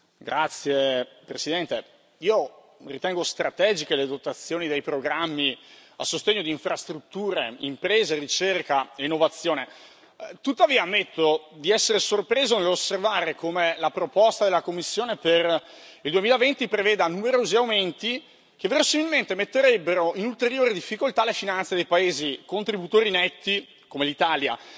Signora Presidente, onorevoli colleghi, io ritengo strategiche le dotazioni dei programmi a sostegno di infrastrutture, imprese, ricerca e innovazione. Tuttavia ammetto di essere sorpreso nell'osservare come la proposta della Commissione per il 2020 preveda numerosi aumenti che, verosimilmente, metterebbero in ulteriore difficoltà le finanze dei paesi contributori netti, come l'Italia.